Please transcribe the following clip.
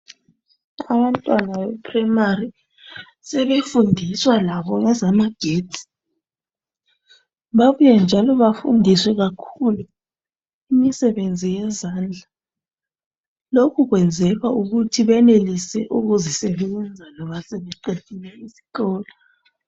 Abantwana beprimary sebefundiswa labo ngezamagetsi babuye njalo befundiwe kakhulu imisebenzi yezendla, lokhu kwenzelwa ukuthi benelise ukuzisebenza loba sebeqedile isikolo.